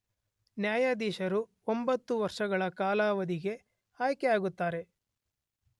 ನ್ಯಾಯಾಧೀಶರು ಒಂಬತ್ತು ವರ್ಷಗಳ ಕಾಲಾವಧಿಗೆ ಆಯ್ಕೆಯಾಗುತ್ತಾರೆ